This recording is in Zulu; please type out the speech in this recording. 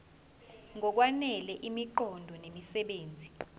ngokwanele imiqondo nemisebenzi